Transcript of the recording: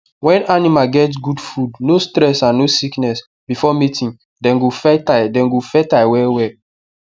when animal get good food no stress and no sickness before mating dem go fertile dem go fertile well well